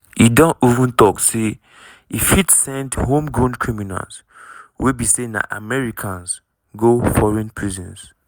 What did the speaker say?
e don even tok say e fit send "homegrown criminals" wey be say na americans go foreign prisons.